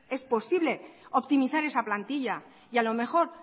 es posible optimizar esa plantilla y a lo mejor